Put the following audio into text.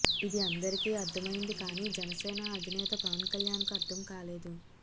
ఇది అందరికీ అర్థమైంది కానీ జనసేన అధినేత పవన్ కల్యాణ్ కు అర్థం కాలేదు